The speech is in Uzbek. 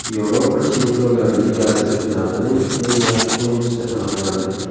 Yevropa Chempionlar Ligasi finalining eng yaxshi o‘yinchisi aniqlandi.